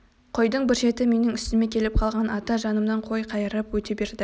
қойдың бір шеті менің үстіме келіп қалған ата жанымнан қой қайырып өте берді